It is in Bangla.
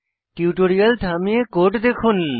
টিউটোরিয়ালটি থামিয়ে কোড লিখুন